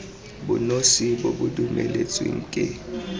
bonosi bo bo dumeletsweng ke